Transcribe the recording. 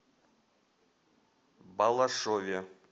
балашове